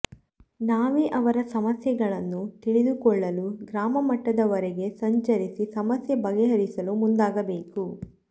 ನಾವೇ ಅವರ ಸಮಸ್ಯೆಗಳನ್ನು ತಿಳಿದುಕೊಳ್ಳಲು ಗ್ರಾಮ ಮಟ್ಟದವರೆಗೆ ಸಂಚರಿಸಿ ಸಮಸ್ಯೆ ಬಗೆಹರಿಸಲು ಮುಂದಾಗಬೇಕು